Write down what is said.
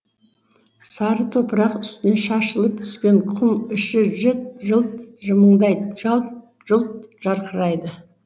сары топырақ үстіне шашылып түскен құм іші жылт жылт жымыңдайды жалт жұлт жарқырайды